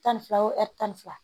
Tan ni fila o ɛri tan ni fila